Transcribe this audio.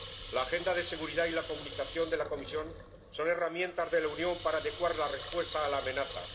La agenda de seguridad y la Comunicación de la Comisión son herramientas de la Unión para adecuar la respuesta a la amenaza.